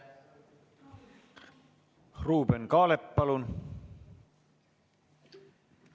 Ruuben Kaalep, palun!